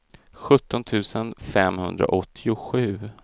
sjutton tusen femhundraåttiosju